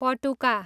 पटुका